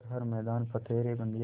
कर हर मैदान फ़तेह रे बंदेया